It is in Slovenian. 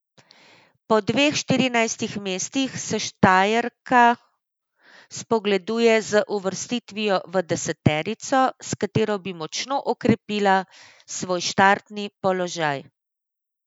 Po dveh štirinajstih mestih se Štajerka spogleduje z uvrstitvijo v deseterico, s katero bi močno okrepila svoj štartni položaj.